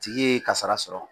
Tigi ye kasara sɔrɔ